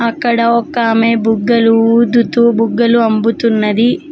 ఇక్కడ ఒక ఆమె బుగ్గలు ఊదుతూ బుగ్గలు అమ్ముతున్నది